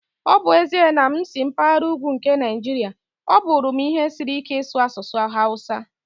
Ọ bụ ezie na m si na mpaghara ugwu nke Nigeria, ọ bụrụ m ihe siri ike ịsu asụsụ Hausa.